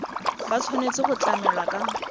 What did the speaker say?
ba tshwanetse go tlamelwa ka